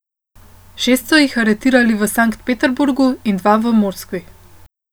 Šest so jih aretirali v Sankt Peterburgu in dva v Moskvi.